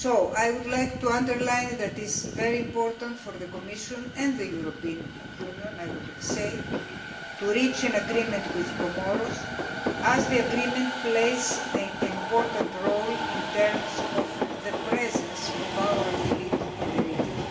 I would like to underline that it is very important for the Commission and the European Union to reach an agreement with Comoros, as the agreement plays an important role in terms of the presence of our fleet in the region.